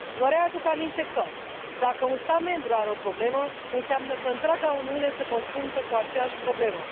Vă readuc aminte că, dacă un stat membru are o problemă, înseamnă că întreaga Uniune se confruntă cu aceeași problemă.